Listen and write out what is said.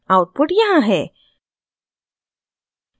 output यहाँ है